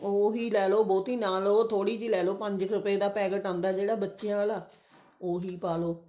ਉਹੀ ਲੈਲੋ ਬਹੁਤੀ ਨਾ ਲਓ ਉਹ ਥੋੜੀ ਜੀ ਲੈਲੋ ਪੰਜ ਰੁਪੇ ਦਾ packet ਆਉਂਦਾ ਜਿਹੜਾ ਬੱਚਿਆਂ ਆਲਾ ਉਹੀ ਪਾਲੋ